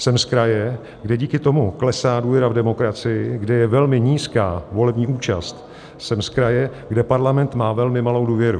Jsem z kraje, kde díky tomu klesá důvěra v demokracii, kde je velmi nízká volební účast, jsem z kraje, kde Parlament má velmi malou důvěru.